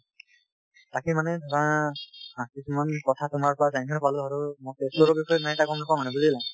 তাকে মানে ধৰা আ কিছূমান কথা তোমাৰ পৰা জানিবলৈ পালোঁ আৰু মই তেজপুৰৰ বিষয়ে বুজিলা ।